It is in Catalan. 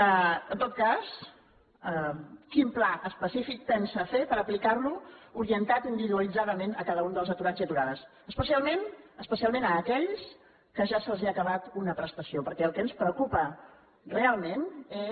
en tot cas quin pla específic pensa fer per aplicar lo orientat individualitzadament a cada un dels aturats i aturades especialment a aquells a qui ja se’ls ha acabat una prestació perquè el que ens preocupa realment és